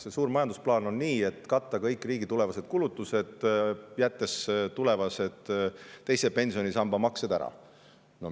See suur majandusplaan on selline, et tuleb katta kõik riigi tulevased kulutused, jättes tulevased teise pensionisamba maksed ära.